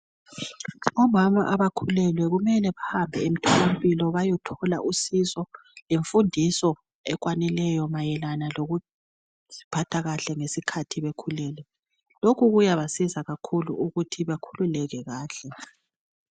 Omama abakhulelwe kumele bahambe emtholampilo bayethola usizo lemfundiso ekwanileyo mayelana lokuziphatha kahle ngesikhathi bekhulelwe. Lokhu kuyabasiza kakhulu ukuthi bakhululeke kahle.